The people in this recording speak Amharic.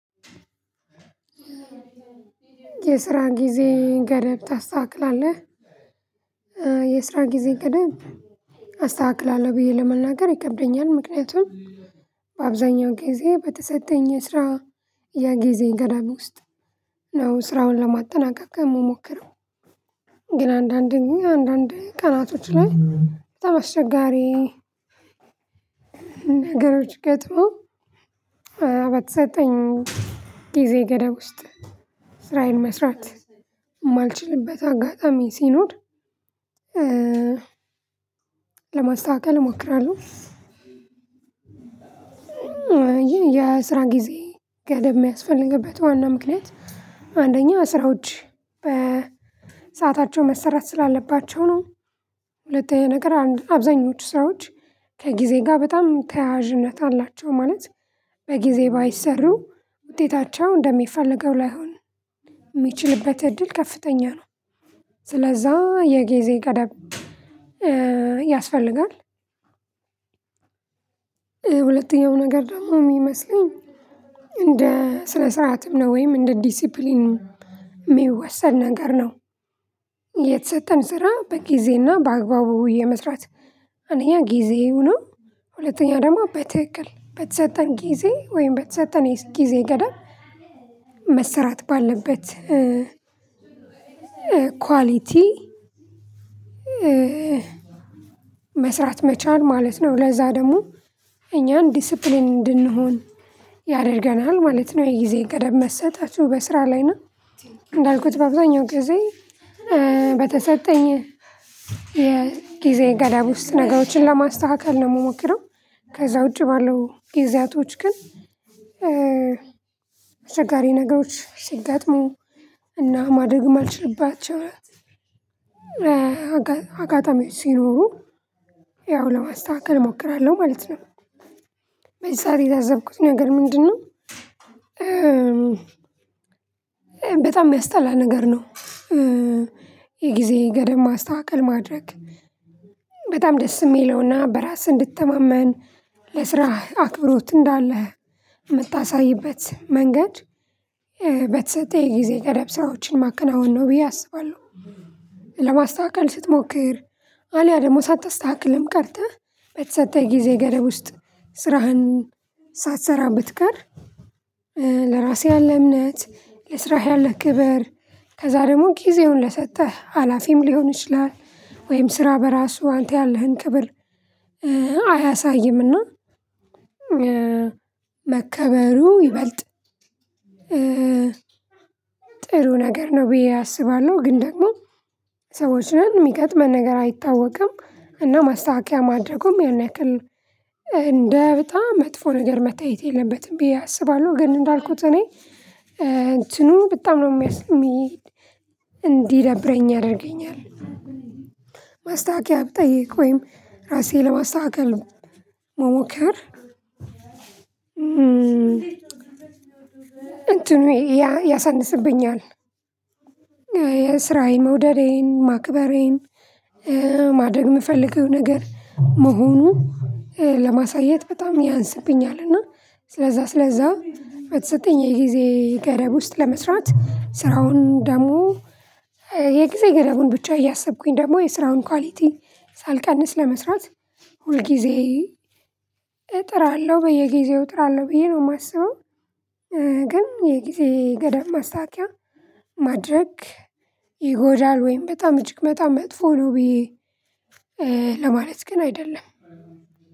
የስራ ጊዜ ገደብ ታስተካክላለህ? የስራ ጊዜ ገደብ አስተካክላለሁ ብዬ ለመናገር ይከብደኛል። ምክንያቱም በአብዛኛው ጊዜ በተሰጠኝ ስራ የጊዜ ገደብ ውስጥ ነው ስራውን ለማጠናቀቅ እምሞክረው። ግን አንዳንዴ አንዳንዴ ቀናቶች ላይ በጣም አስቸጋሪ ነገሮች ገጥመው በተሰጠኝ ጊዜ ገደብ ውስጥ ስራዬን መስራት የማልችልበት አጋጣሚ ሲኖር ለማስተካከል እሞክራለሁ። ይሄ የስራ ጊዜ ገደብ የሚያስፈልግበት ዋና ምክንያት አንደኛ ስራዎች በሰአታቸው መሰራት ስላለባቸው ነው። ሁለተኛ ነገር አንድ አብዛኞች ስራዎች ከጊዜ ጋር በጣም ተያያዥነት አላቸው። ማለት በጊዜ ባይሰሩ ውጤታቸው እንደሚፈልገው ላይሆን የሚችልበት እድል ከፍተኛ ነው። ስለዛ የጊዜ ገደብ ያስፈልጋል። ሁለተኛው ነገር ደግሞ የሚመስለኝ እንደ ስነ ስርዓትም ነው። ወይም እንደ ዲሲፕሊንም የሚወሰድ ነገር ነው። የተሰጠን ስራ በጊዜና በአግባቡ የመስራት አንደኛ ጊዜው ነው ሁለተኛ ደግሞ በትክክል በተሰጠን ጊዜ ወይም በተሰጠን የጊዜ ገደብ መሰራት ባለበት ኳሊቲ መስራት መቻል ማለት ነው። ለዛ ደግሞ እኛን ዲሲፕሊን እንድንሆን ያደርገናል ማለት ነው። የጊዜ ገደብ መሰጠቱ በስራ ላይ እና እንዳልኩት በአብዛኛው ጊዜ በተሰጠኝ የጊዜ ገደብ ውስጥ ነገሮችን ለማስተካከል ነው የምሞክረው። ከዛ ውጪ ባለው ጊዜያቶች ግን አስቸጋሪ ነገሮች ሲገጥሙ እና ማድረግም ማልችልባቸውም አጋጣሚዎች ሲኖሩ ያው ለማስተካከል እሞክራለሁ ማለት ነው። በዛ የታዘብኩት ነገር ምንድነው በጣም የሚያስጠላ ነገር ነው። የጊዜ ገደብ ማስተካከል ማድረግ በጣም ደስ የሚለውና በራስህ እንድትተማመን ለስራህ አክብሮት እንዳለህ የምታሳይበት መንገድ በተሰጠኝ ጊዜ ጠረጴዛዎችን ማከናወን ነው ብዬ አስባለሁ። ለማስተካከል ስትሞክር አልያ ደግሞ ሳታስተካክልም ቀርተህ በተሰጠህ ጊዜ ገደብ ውስጥ ስራህን ሳትሰራ ብትቀር ለራሴ ያለ እምነት ለስራህ ያለህ ክብር ከዛ ደግሞ ጊዜውን ለሰጠህ ሀላፊም ሊሆን ይችላል ወይም ስራ በራሱ አንተ ያለህን ክብር አያሳይምና መከበሩ ይበልጥ ጥሩ ነገር ነው ብዬ አስባለሁ ግን ደግሞ ሰዎችን የሚገጥመን ነገር አይታወቅም እና ማስተካከያ ማድረጉም ያን ያክል እንደ በጣም መጥፎ ነገር መታየት የለበትም ብዬ አስባለሁ። ግን እንዳልኩት እኔ እንትኑ በጣም ነው እንዲደብረኝ ያደርገኛል። ማስታወቂያ ብጠይቅ ወይም ራሴን ለማስታከከ መሞከር እንትኑ ያሳንስብኛል። የስራዬን መውደዴን ማክበሬን ማድረግ የምፈልገው ነገር መሆኑ ለማሳየት በጣም ያንስብኛል እና ስለዛ ስለዛ በተሰጠኝ የጊዜ ገደብ ውስጥ ለመስራት ስራውን ደግሞ የጊዜ ገደቡን ብቻ እያሰብኩኝ ደግሞ የስራውን ኳሊቲ ሳልቀንስ ለመስራት ሁል ጊዜ እጥራለሁ በየጊዜው እጥራለሁ ብዬ ነው የማስበው። ግን የጊዜ ገደብ ማስታወቂያ ማድረግ ይጎዳል ወይም በጣም እጅግ በጣም መጥፎ ነው ብዬ ለማለት ግን አይደለም